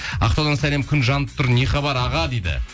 ақтаудан сәлем күн жанып тұр не хабар аға дейді